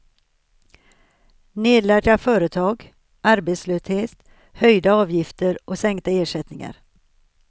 Nedlagda företag, arbetslöshet, höjda avgifter och sänkta ersättningar.